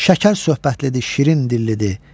Şəkər söhbətlidir, şirin dillidir.